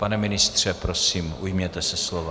Pane ministře, prosím, ujměte se slova.